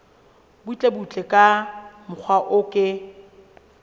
butlebutle ka mokgwa o ke